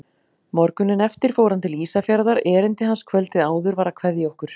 Morguninn eftir fór hann til Ísafjarðar, erindi hans kvöldið áður var að kveðja okkur.